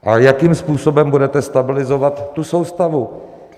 A jakým způsobem budete stabilizovat tu soustavu?